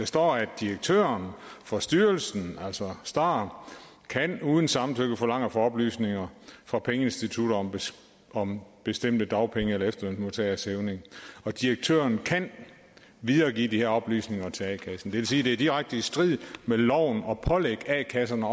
står at direktøren for styrelsen altså star uden samtykke kan forlange at få oplysninger fra pengeinstitutterne om bestemte dagpenge eller efterlønsmodtageres hævninger og direktøren kan videregive de her oplysninger til a kassen det vil sige det i direkte strid med loven at pålægge a kasserne